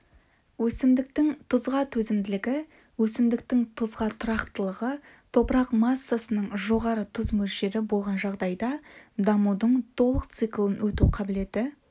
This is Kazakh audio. өсімдіктің тұзға төзімділігі өсімдіктің тұзға тұрақтылығы топырақ массасының жоғары тұз мөлшері болған жағдайда дамудың толық циклін өту қабілеті